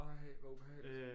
Ej hvor ubehageligt